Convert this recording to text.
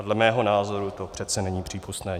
A dle mého názoru to přece není přípustné.